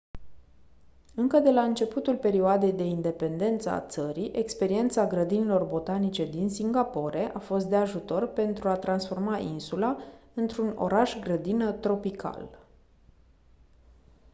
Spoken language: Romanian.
încă de la începutul perioadei de independență a țării experiența grădinilor botanice din singapore a fost de ajutor pentru a transforma insula într-un oraș-grădină tropical